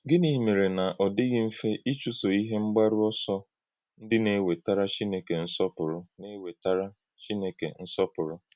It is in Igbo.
Gịnị̀ mèré na ọ̀ dịghị mfe ịchụ́sò ihe mgbárù òsò ndí na-ewètárá Chineke nsọpùrù? na-ewètárá Chineke nsọpùrù?